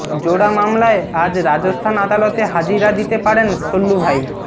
জোড়া মামলায় আজ রাজস্থান আদালতে হাজিরা দিতে পারেন সল্লুভাই